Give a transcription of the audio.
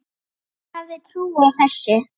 Hver hefði trúað þessu?